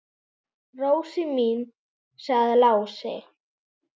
Rósin mín, sagði Lási.